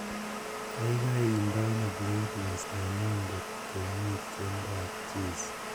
Kaikai iton playlist nenyu ngot komi tiendoab Jizi